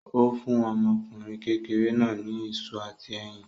Ó fún ọmọkùnrin kékeré náà ní iṣu àti ẹyin.